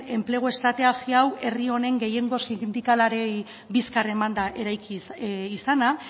enplegu estrategia hau herri honen gehiengo sindikalei bizkar emanda eraiki izana